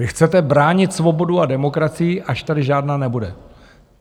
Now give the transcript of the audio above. Vy chcete bránit svobodu a demokracii, až tady žádná nebude.